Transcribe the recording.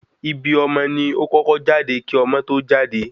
Ibi ọmọ ni o kọ́kọ́ jáde kí ọmọ tó jáde